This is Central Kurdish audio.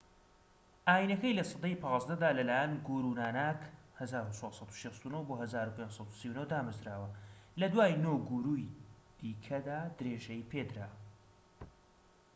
ئاینەکە لە سەدەی 15دا لە لایەن گورو ناناک 1469 - 1539 دامەزراوە. لە دوای نۆ گوروری دیکەدا درێژەی پێدرا